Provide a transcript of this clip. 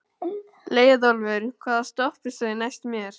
Leiðólfur, hvaða stoppistöð er næst mér?